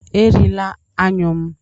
Erila anyụ m!